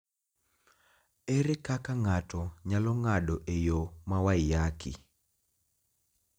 Ere kaka ng�ato nyalo ng�ado e yo ma Waiyaki?